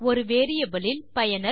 ஒரு வேரியபிள் இல் பயனர்